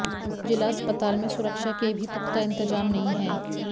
जिला अस्पताल में सुरक्षा के भी पुख्ता इंतजाम नहीं हैं